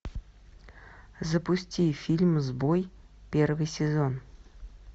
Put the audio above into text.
запусти фильм сбой первый сезон